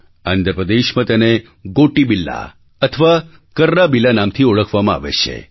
આંધ્રપ્રદેશમાં તેને ગોટિબિલ્લા અથવા કર્રાબિલ્લા નામથી ઓળખવામાં આવે છે